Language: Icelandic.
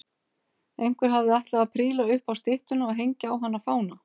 Einhver hafði ætlað að príla upp á styttuna og hengja á hana fána.